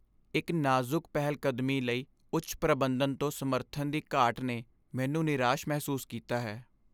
ਇੱਕ ਨਾਜ਼ੁਕ ਪਹਿਲਕਦਮੀ ਲਈ ਉੱਚ ਪ੍ਰਬੰਧਨ ਤੋਂ ਸਮਰਥਨ ਦੀ ਘਾਟ ਨੇ ਮੈਨੂੰ ਨਿਰਾਸ਼ ਮਹਿਸੂਸ ਕੀਤਾ ਹੈ।